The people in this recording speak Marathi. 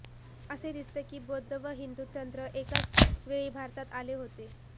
असे दिसते की बौद्ध व हिंदू तंत्र एकाच वेळी भारतात आले होते